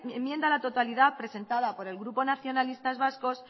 enmienda a la totalidad presentada por el grupo nacionalistas vascos